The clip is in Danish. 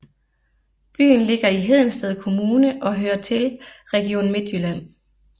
Byen ligger i Hedensted Kommune og hører til Region Midtjylland